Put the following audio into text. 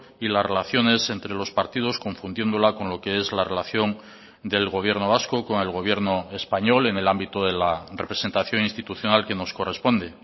y las relaciones entre los partidos confundiéndola con lo que es la relación del gobierno vasco con el gobierno español en el ámbito de la representación institucional que nos corresponde